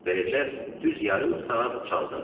Beləcə, düz yarım saat çaldım.